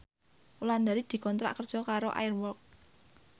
Wulandari dikontrak kerja karo Air Walk